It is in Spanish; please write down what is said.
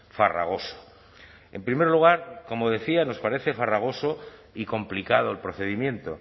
farragoso en primer lugar como decía nos parece farragoso y complicado el procedimiento